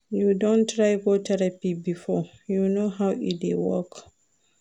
You don try go therapy before, you know how e dey work?